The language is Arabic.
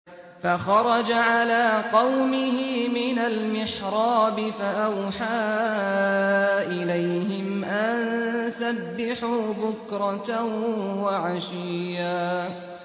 فَخَرَجَ عَلَىٰ قَوْمِهِ مِنَ الْمِحْرَابِ فَأَوْحَىٰ إِلَيْهِمْ أَن سَبِّحُوا بُكْرَةً وَعَشِيًّا